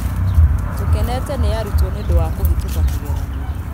Tũkenete nĩ arutwo nĩ ũndũwa kũhĩtũka kĩgerio